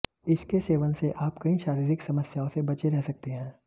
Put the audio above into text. इसके सेवन से आप कई शारीरिक समस्याओं से बचे रह सकते हैं